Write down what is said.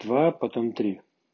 два потом три